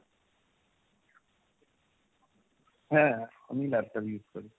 হ্যাঁ আমি laptop use করি।